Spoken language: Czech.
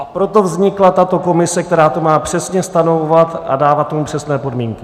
A proto vznikla tato komise, která to má přesně stanovovat a dávat tomu přesné podmínky.